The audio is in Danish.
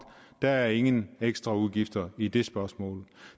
der er ingen ekstraudgifter i det spørgsmål